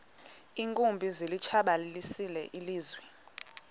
iinkumbi zilitshabalalisile ilizwe